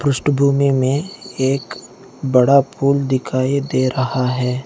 पृष्ठभूमि में एक बड़ा पूल दिखाई दे रहा है।